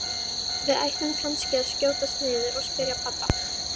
Við ættum kannski að skjótast niður og spyrja pabba.